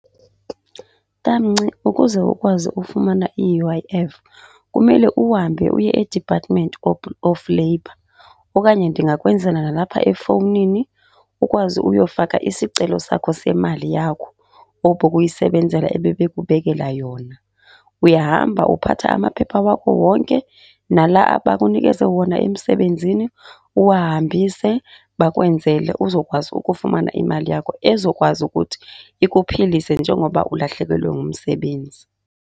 Tamnci ukuze ukwazi ufumana i-U_I_F kumele uhambe uye eDepartment of Labour, okanye ndingakwenzela nalapha efowunini ukwazi uyofaka isicelo sakho semali yakho obuyisebenzela ebebekubekela yona. Uyahamba, uphatha amaphepha akho wonke nala abakunikeze wona emsebenzini, uwahambise bakwenzele uzokwazi ukufumana imali yakho ezokwazi ukuthi ikuphilise njengoba ulahlekelwe ngumsebenzi.